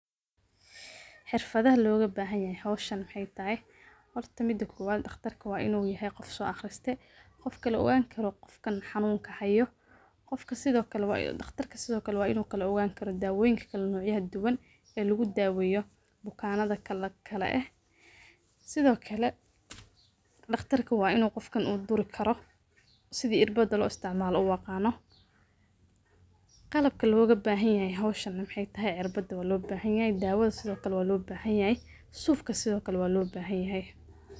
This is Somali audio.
Xifada lo gabahan yahay hawshaan Maxey tahay. Horta midaa kowaad dhaqtarka wa inuu yahay qof so aqristay oo Kala ogaan Karo qofkan xanuunka haayo qofka sidokale dhaqtarka sidokale wa inu Kala ogaan Karo dawoonyinka Kala nooc yaha Duban ee lagu daaweyo bukanada Kala eh sidokale dhaqtarka wa inuu qofkan u duri Karo sidii cirbada lo isticmalana u aqaano qalabka lo ga bahanyahay hawshan Maxey tahay cirbada wa lobahan yahay dawada sidokale wa lo bahan yahay suufka sidokale wa lo bahan yahay .